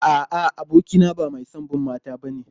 A'a, abokina ba mai son mata bane.